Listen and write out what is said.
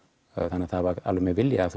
þannig það var alveg með vilja af